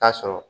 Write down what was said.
Taa sɔrɔ